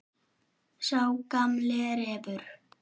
Sá gamli refur.